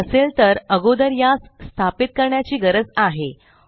जर नसेल तर अगोदर यास स्थापित करण्याची गरज आहे